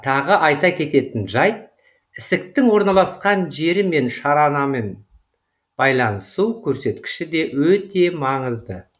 тағы айта кететін жайт ісіктің орналасқан жері мен шаранамен байланысу көрсеткіші де өте маңызды